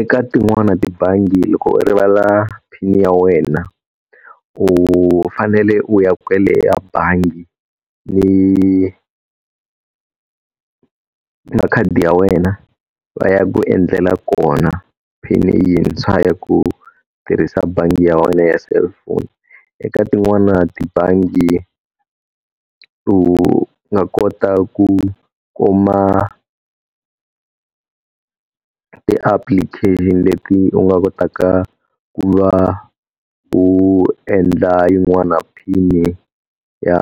Eka tin'wana tibangi loko u rivala pin ya wena, u fanele u ya kwele a bangi ni makhadi ya wena va ya ku endlela kona pin-i yintshwa ya ku tirhisa bangi ya wena ya cellphone. Eka tin'wana tibangi u nga kota ku kuma ti-application leti u nga kotaka ku va u endla yin'wana pin-i ya